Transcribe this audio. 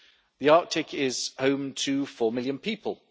The Arctic is home to 4 million people.